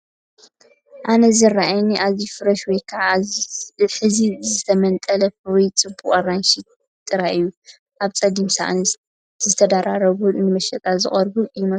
ኣነ ዝረኣየኒ ኣዝዩ ፍሬሽ ወይ ከዓ ሕዚ ዝተመንጠለ ፍሩይን ጽቡቕን ኣራንሺ ጥራይ እዩ። ኣብ ጸሊም ሳእኒ ዝተደራረቡን ንመሸጣ ዝቐረቡን ይመስሉ።